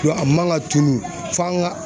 A man ka tunu f'an ka